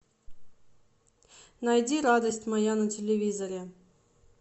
найди радость моя на телевизоре